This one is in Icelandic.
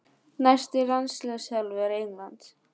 Næsti landsliðsþjálfari Englands?